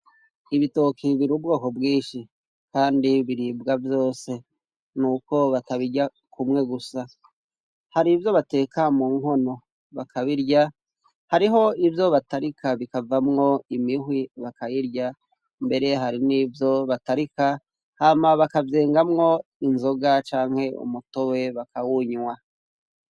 Ibitoke biri ubwoko bwinshi kandi biribwa vyose nuko batabirya kumwe gusa hari ivyo bateka mu nkono bakabirya hariho ivyo batarika bikavamwo imihwi bakayirya mbere hari n'ivyo batarika hama bakavyengamwo inzoga canke umutobe bakawunywa.